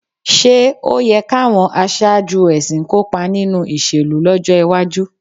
Ṣé ó yẹ káwọn aṣáájú ẹ̀sìn kópa nínú ìṣèlú lọ́jọ́ iwájú?